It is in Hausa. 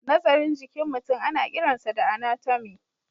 Nazarin jikin mutum ana kiransa da anatomy.